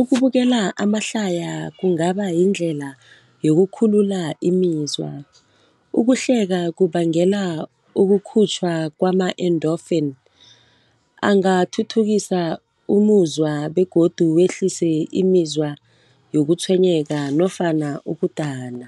Ukubukela amahlaya kungaba yindlela yokukhulula imizwa. Ukuhleka kubangela ukukhutjhwa kwama-endorphin angathuthukisa umuzwa begodu wehlise imizwa yokutshwenyeka nofana ukudana.